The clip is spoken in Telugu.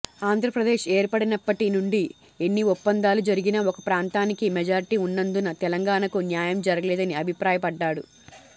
ఆంధ్రప్రదేశ్ ఏర్పడినప్పటి నుండి ఎన్ని ఒప్పందాలు జరిగినా ఒక ప్రాంతానికి మెజార్టీ ఉన్నందున తెలంగాణకు న్యాయం జరగలేదని అభిప్రాయపడ్డారు